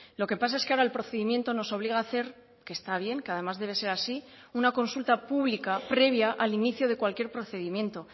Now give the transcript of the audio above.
lo que pasa es que ahora el procedimiento nos obliga a hacer que está bien que además debe ser así una consulta pública previa al inicio de cualquier procedimiento